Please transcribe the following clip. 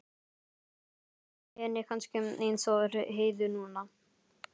Þá liði henni kannski eins og Heiðu núna.